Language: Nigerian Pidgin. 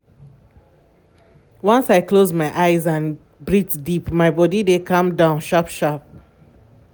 once i close my eyes and breathe deep my body dey calm down sharp sharp.